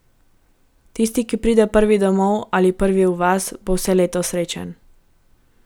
Tisti, ki pride prvi domov ali prvi v vas, bo vse leto srečen.